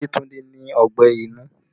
Yetunde ní ọgbẹ́ inú